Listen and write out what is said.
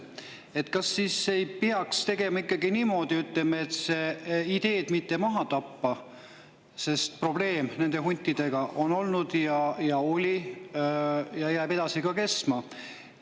Aga kas siis ei peaks tegema ikkagi niimoodi, et seda ideed ei tapeta maha, sest probleem huntidega on olnud ja jääb ka edasi kestma?